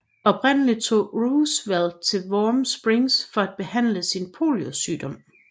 Oprindelig tog Roosevelt til Warm Springs for at behandle sin poliosygdom